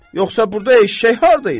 Yoxsa burda eşşək harda idi?